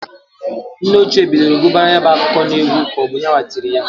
Nne ochie bidolu guba ya bụ akụkọ n'egwu k'ọbụ yanwa tiri ya.